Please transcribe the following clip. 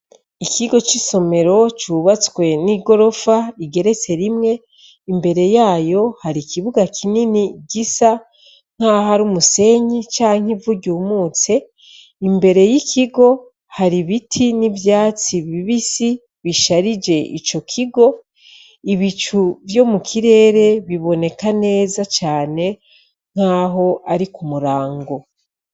Ikigo c'isomero cubatswe n'igorofa igeretse rimwe imbere yayo hari ikibuga kinini gisa nk'aho ari umusenyi canke ivuryeumutse imbere y'ikigo hari ibiti n'ivyatsi bibisi bisharije ico kigo ibicu vyomue mu kirere biboneka neza cane nk'aho ari ku murango.